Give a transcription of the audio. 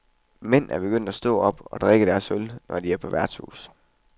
Mænd er begyndt at stå op og drikke deres øl, når de er på værtshus.